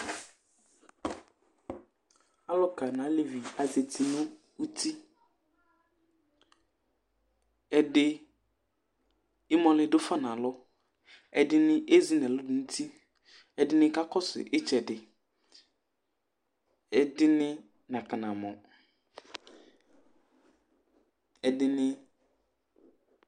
Alʋka nʋ alevi, azati nʋ uti Ɛdɩ, ɩmɔlɩ dʋ fa nʋ alɔ, ɛdɩnɩ ezi nʋ ɛlʋ dʋ nʋ uti, ɛdɩnɩ kakɔsʋ ɩtsɛdɩ, ɛdɩnɩ nakɔnamɔ, ɛdɩnɩ